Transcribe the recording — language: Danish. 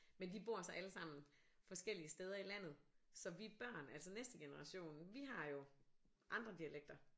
Men de bor så alle sammen forskellige steder i landet så vi børn altså næste generation vi har jo andre dialekter